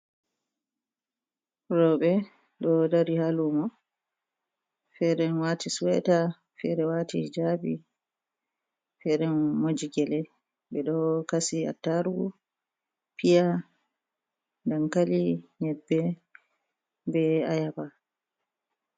Roɓe do dari ha lumo fere ɗo wati suweta, fere wati hijabi fere moji gele ɓeɗo kasi attarugu, piya, dankali, nyebbe be ayaba.